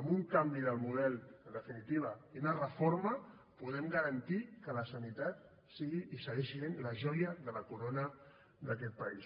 amb un canvi del model en definitiva i una reforma podem garantir que la sanitat sigui i segueixi essent la joia de la corona d’aquest país